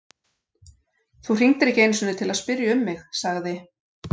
Þú hringdir ekki einu sinni til að spyrja um mig- sagði